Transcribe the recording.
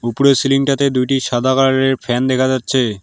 উপরে সিলিংটাতে দুইটি সাদা কালারের ফ্যান দেখা যাচ্ছে।